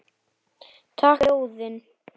Takk fyrir ljóðin.